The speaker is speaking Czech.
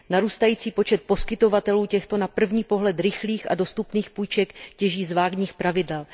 Narůstající počet poskytovatelů těchto na první pohled rychlých a dostupných půjček těží z vágních pravidel.